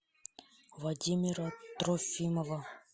владимира трофимова